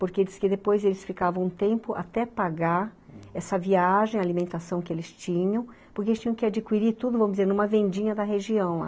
Porque depois eles ficavam um tempo até pagar essa viagem, a alimentação que eles tinham, porque eles tinham que adquirir tudo, vamos dizer, numa vendinha da região lá.